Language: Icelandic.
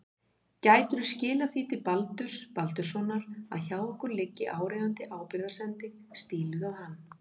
Gætirðu skilað því til Baldurs Baldurssonar að hjá okkur liggi áríðandi ábyrgðarsending stíluð á hann.